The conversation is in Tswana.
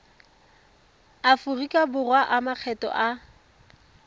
aforika borwa a makgetho a